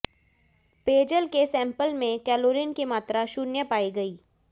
पेयजल के सेंपल में क्लोरीन की मात्रा शून्य पायी गयी